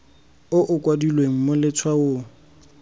o o kailweng mo letshwaong